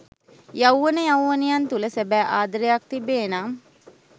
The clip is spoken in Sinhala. යෞවන යෞවනියන් තුළ සැබෑ ආදරයක් තිබේනම්